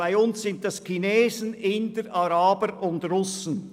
Bei uns sind dies Chinesen, Inder, Araber und Russen.